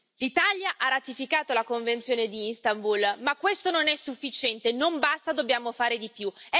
L'Italia ha ratificato la Convenzione di Istanbul, ma questo non è sufficiente, non basta, dobbiamo fare di più.